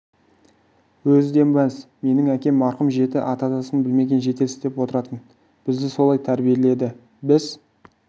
өзі де мәз менің әкем марқұм жеті атасын білмеген жетесіз деп отыратын бізді солай тәрбиеледі біз